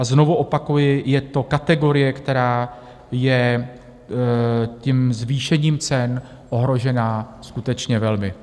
A znovu opakuji, je to kategorie, která je tím zvýšením cen ohrožena skutečně velmi.